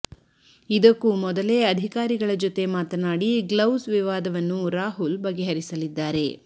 ಇದಕ್ಕೂ ಮೊದಲೇ ಅಧಿಕಾರಿಗಳ ಜೊತೆ ಮಾತನಾಡಿ ಗ್ಲೌಸ್ ವಿವಾದವನ್ನು ರಾಹುಲ್ ಬಗೆಹರಿಸಲಿದ್ದಾರೆ